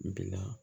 Bi la